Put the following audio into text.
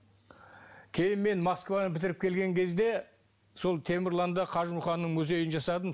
кейін мен москваны бітіріп келген кезде сол темірланда қажымұқанның музейін жасадым